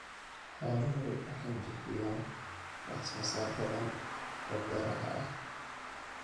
Xooluhu waxay bixiyaan wax soo saar badan oo beeraha ah.